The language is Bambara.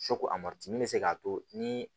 bɛ se k'a to ni